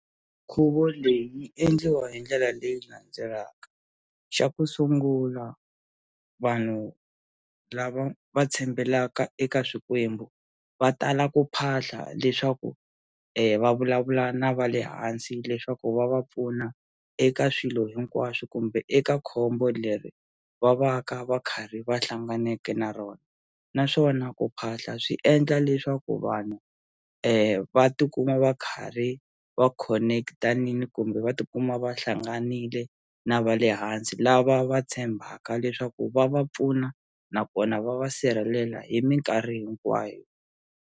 Nkhuvo leyi yi endliwa hi ndlela leyi landzelaka xa ku sungula vanhu lava va tshembelaka eka swikwembu va tala ku phahla leswaku va vulavula na va le hansi leswaku va va pfuna eka swilo hinkwaswo kumbe eka khombo leri va va ka va karhi va hlanganeke na rona naswona ku phahla swi endla leswaku vanhu va tikuma va karhi va connect-a kumbe va tikuma va hlanganile na va le hansi lava va tshembaka leswaku va va pfuna nakona va va sirhelela hi minkarhi hinkwayo.